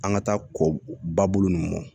An ka taa kɔ ba bolo ninnu mɔn